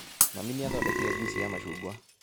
Mami nĩathondekire juici ya macungwa